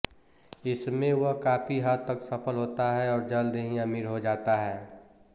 इसमें वह काफी हद तक सफल होता है और जल्द ही अमीर हो जाता है